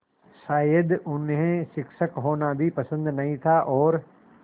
शायद उन्हें शिक्षक होना भी पसंद नहीं था और